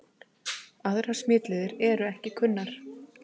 Aðrar smitleiðir eru ekki kunnar.